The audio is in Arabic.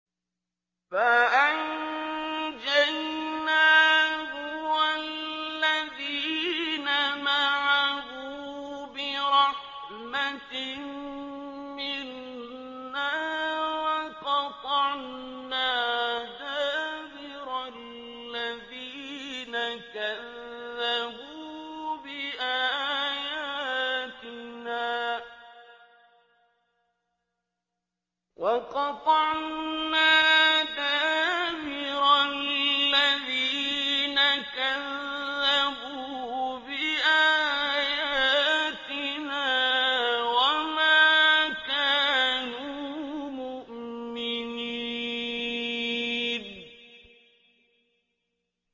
فَأَنجَيْنَاهُ وَالَّذِينَ مَعَهُ بِرَحْمَةٍ مِّنَّا وَقَطَعْنَا دَابِرَ الَّذِينَ كَذَّبُوا بِآيَاتِنَا ۖ وَمَا كَانُوا مُؤْمِنِينَ